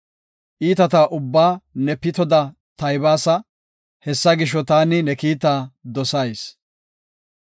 Iitata ubbaa ne pitoda taybaasa; hessa gisho, taani ne kiitaa dosayis.